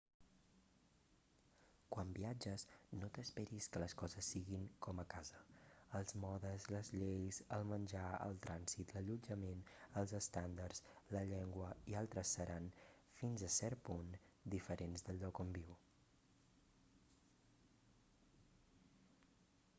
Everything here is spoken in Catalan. quan viatges no t'esperis que les coses siguin com a casa els modes les lleis el menjar el trànsit l'allotjament els estàndards la llengua i altres seran fins a cert punt diferents del lloc on viu